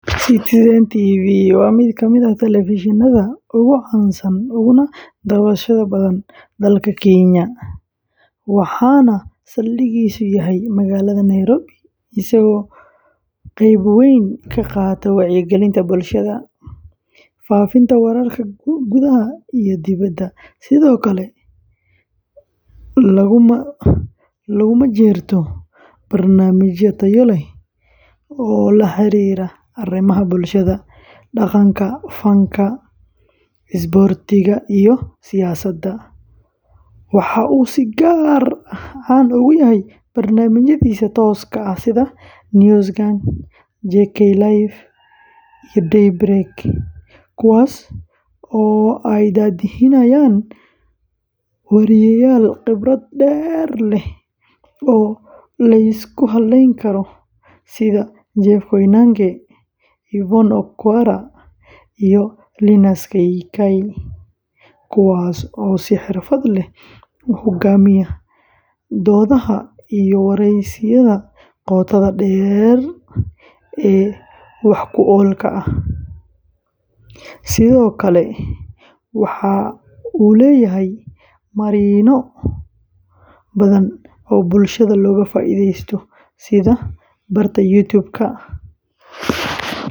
Citizen TV waa mid ka mid ah telefishannada ugu caansan uguna daawashada badan dalka Kenya, waxaana saldhiggiisu yahay magaalada Nairobi, isagoo qayb weyn ka qaata wacyigelinta bulshada, faafinta wararka gudaha iyo dibedda, sidoo kalena lagu majeerto barnaamijyo tayo leh oo la xiriira arrimaha bulshada, dhaqanka, fanka, isboortiga iyo siyaasadda; waxa uu si gaar ah caan ugu yahay barnaamijyadiisa tooska ah sida News Gang, JKLive, Day Break, kuwaas oo ay daadihinayaan wariyeyaal khibrad dheer leh oo la isku halleyn karo sida Jeff Koinange, Yvonne Okwara, iyo Linus Kaikai, kuwaas oo si xirfad leh u hoggaamiya doodaha iyo wareysiyada qotada dheer ee wax-ku-oolka ah; sidoo kale waxa uu leeyahay marinno badan oo bulshada looga faa’iideeyo sida barta YouTube-ka.